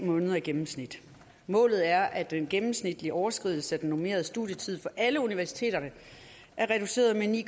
måneder i gennemsnit målet er at den gennemsnitlige overskridelse af den normerede studietid for alle universiteterne er reduceret med ni